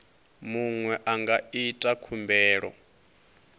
muṅwe a nga ita khumbelo